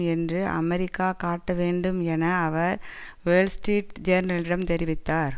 என்று அமெரிக்கா காட்ட வேண்டும் என அவர் வேர்ல் ஸ்டீரிட் ஜேர்னலிடம் தெரிவித்தார்